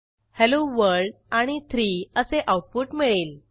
hello world आणि 3 असे output मिळेल